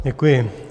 Děkuji.